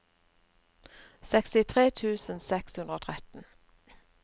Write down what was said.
sekstitre tusen seks hundre og tretten